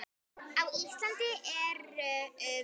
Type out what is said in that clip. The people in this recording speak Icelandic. Á Íslandi eru um